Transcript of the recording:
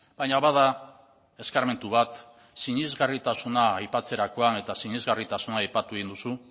baina bada eskarmentu bat sinesgarritasuna aipatzerakoan eta sinesgarritasuna aipatu egin duzu